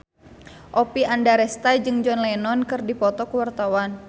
Oppie Andaresta jeung John Lennon keur dipoto ku wartawan